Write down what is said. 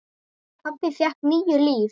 Pabbi fékk níu líf.